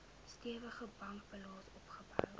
stewige bankbalans opgebou